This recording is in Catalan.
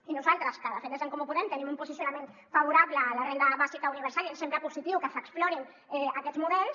i nosaltres que de fet des d’en comú podem tenim un posicionament favorable a la renda bàsica universal i ens sembla positiu que s’explorin aquests models